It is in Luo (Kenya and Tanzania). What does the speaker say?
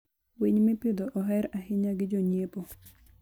winy mipidho oher ahinya gi jo nyiepo.